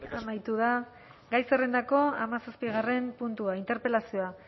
amaitu da gai zerrendako hamazazpigarren puntua interpelazioa